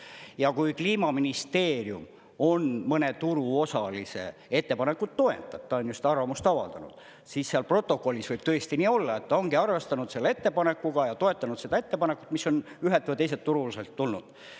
Ja kui Kliimaministeerium mõne turuosalise ettepanekut toetab, ta on ju seda arvamust avaldanud, siis seal protokollis võib tõesti nii olla, et ta ongi arvestanud selle ettepanekuga ja toetanud seda ettepanekut, mis on ühel või teiselt turuosaliselt tulnud.